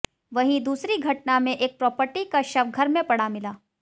वहीं दूसरी घटना में एक प्रॉपर्टी का शव घर में पड़ा मिला